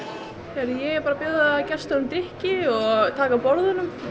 ég er bara að bjóða gestunum drykki og taka af borðunum bara